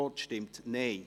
Non Enthalten